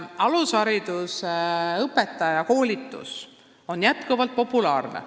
Alushariduse õpetaja koolitus on jätkuvalt populaarne.